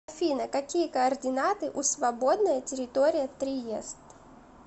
афина какие координаты у свободная территория триест